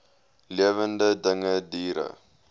lewende dinge diere